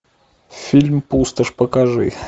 фильм пустошь покажи